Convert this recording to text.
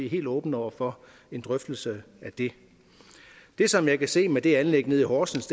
helt åbne over for en drøftelse af det det som jeg kan se ved det anlæg nede i horsens